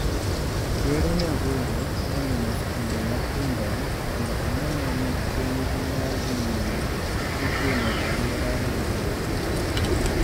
Ker Nyagoro nolimo skunde matindo mondo one ni penj ma dhi nyime itimo e alwora maber